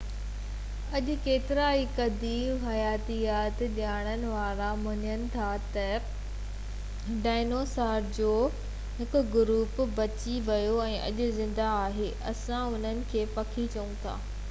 اڄ ڪيترائي قديم حياتيات ڄاڻڻ وارا مڃن ٿا تہ ڊائنوسار جو هڪ گروپ بچي ويو ۽ اڄ زنده آهي اسان انهن کي پکي چئون ٿا